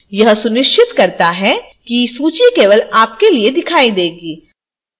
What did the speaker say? यह सुनिश्चित करता है कि सूची केवल आपके लिए दिखाई देगी